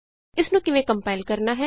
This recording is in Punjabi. ਇਸਨੂੰ ਕਿਵੇਂ ਕੰਪਾਇਲ ਕਰਨਾ ਹੈ